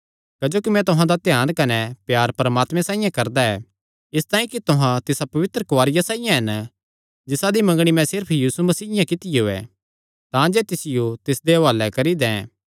क्जोकि मैं तुहां दा ध्यान कने प्यार परमात्मे साइआं करदा ऐ इसतांई कि तुहां तिसा पवित्र कुआरिया साइआं हन जिसादी मंगणी मैं सिर्फ यीशु मसीयें कित्तियो ऐ तांजे तिसियो तिसदे हुआले करी दैं